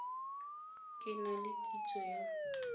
ke na le kitso ya